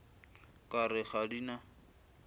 ka re ga di na